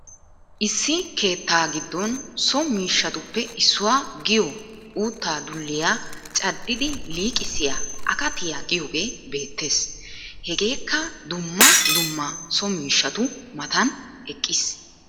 issi keettaa giddon so miishshsatuppe issuwa giyo utta dulliyaa caddidi liqqisiya akkatiya giyogee beettees. hegeekka duummaa duummaa so miishshatu mataan eqqis.